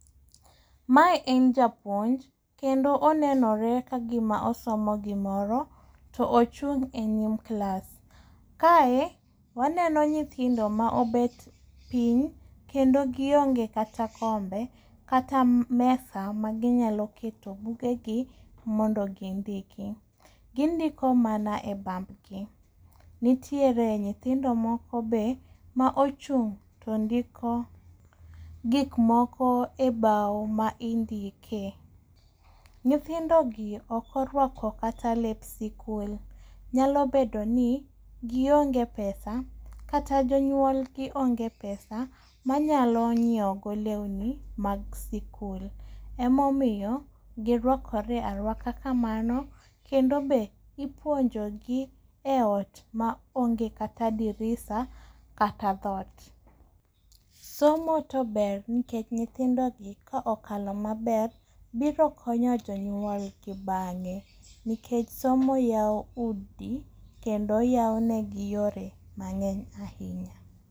Mae en japuonj kendo onenore kagima osomo gimoro to ochung' e nyim klas. Kae waneno nyithindo ma obet piny kendo gionge kata kar bet kata kombe kata mesa maginyalo kete bugegi mondo gindiki. Gindiko mana e bam gi. Nitiere nyithindo moko be ma ochung' to ndiko gik moko e bao ma indike. Nyithindogi ok orwako kata lep sikul. Nyalo bedo ni gionge pesa kata jonyuol gi onge pesa ma nyalo nyiewo go lewni mag sikul. Emomiyo girwakre aruaka kamano. Emomiyo ipuonjogi e ot maonge dirisa kata dhoot. Somo to ber nikech nyithindo gi ka okalo maber to biro konyo jonyuol gi bang'e. NIkech somo yawo udi kendo yawo negi yore mang'eny ahinya.